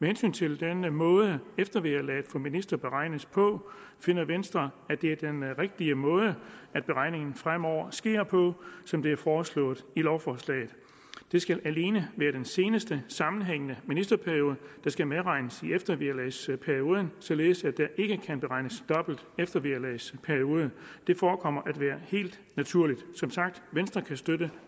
hensyn til den måde eftervederlaget for ministre beregnes på finder venstre at det er den rigtige måde at beregning fremover sker som det er foreslået i lovforslaget det skal alene være den seneste sammenhængende ministerperiode der skal medregnes i eftervederlagsperioden således at der ikke kan beregnes dobbelt eftervederlagsperiode det forekommer at være helt naturligt som sagt venstre kan støtte